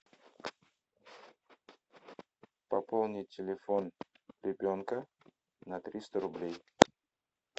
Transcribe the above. пополнить телефон ребенка на триста рублей